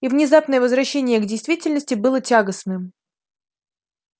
и внезапное возвращение к действительности было тягостным